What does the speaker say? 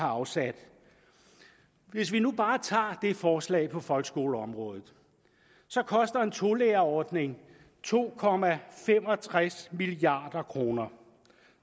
afsat hvis vi nu bare tager det forslag på folkeskoleområdet så koster en tolærerordning to milliard kroner